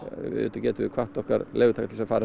auðvitað getum við hvatt okkar leigutaka til þess að fara